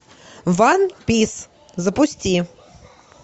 ван пис запусти